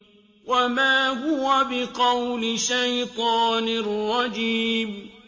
وَمَا هُوَ بِقَوْلِ شَيْطَانٍ رَّجِيمٍ